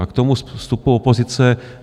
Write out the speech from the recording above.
A k tomu vstupu opozice.